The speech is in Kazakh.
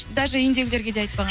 даже үйіндегілерге де айтпаған